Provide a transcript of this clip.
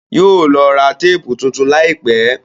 Yóò lọ ra téèpù tuntun láìpẹ́.